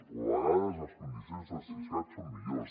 o a vegades les condicions del siscat són millors